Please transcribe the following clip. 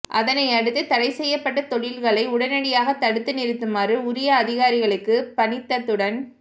அதனையடுத்து தடை செய்யப்பட்ட தொழில்களை உடனடியாக தடுத்து நிறுத்துமாறு உரிய அதிகாரிகளுக்கு பணித்ததுடன்